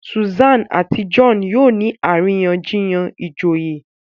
Susan àti John yóò ní àríyànjiyàn ìjòyè